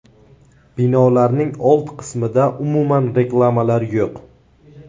Binolarning old qismida umuman reklamalar yo‘q.